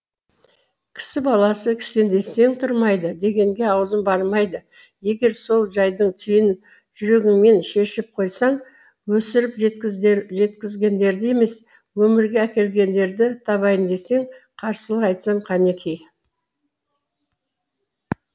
кісі баласы кісендесең тұрмайды дегенге аузым бармайды егер сол жайдың түйінін жүрегіңмен шешіп қойсаң өсіріп жеткізгендерді емес өмірге әкелгендерді табайын десең қарсылық айтсам қанеки